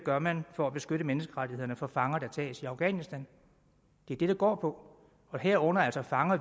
gør man for at beskytte menneskerettighederne for fanger der tages i afghanistan det er det det går på og herunder altså fanger